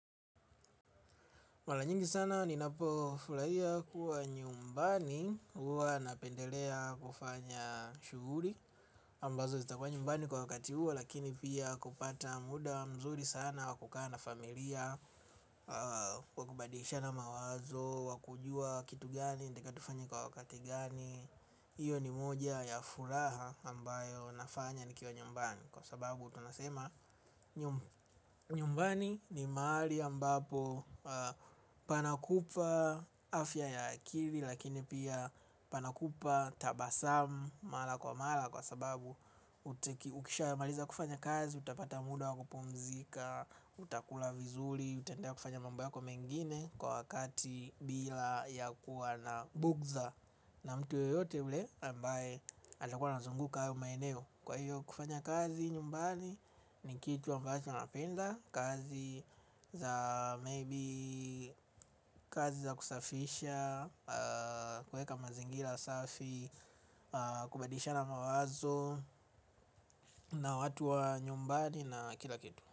Mara nyingi sana ni navofurahia kuwa nyumbani huwana pendelea kufanya shughuli ambazo zitakua nyumbani kwa wakati huo lakini pia kupata muda mzuri sana wakukaa na familia, wakubadilishana mawazo, wakujua kitu gani nataka tufanya kwa wakati gani. Iyo ni moja ya furaha ambayo nafanya nikiwa nyumbani. Kwa sababu tunasema nyumbani ni mahali ambapo panakupa afya ya akili. Lakini pia panakupa tabasamu mala kwa mala. Kwa sababu ukisha maliza kufanya kazi, utapata muda wakupumzika, utakula vizuri. Utaendea kufanya mambo yako mengine kwa wakati bila ya kuwa na bugza. Na mtu yoyote ule ambaye atakuwa nazunguka hayo maeneo kwa hiyo kufanya kazi nyumbani ni kitu ambacho napenda. Kazi za maybe kazi za kusafisha kuweka mazingira safi. Kubadilisha na mawazo na watu wa nyumbani na kila kitu.